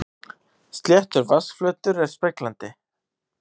Sléttur vatnsflötur er speglandi.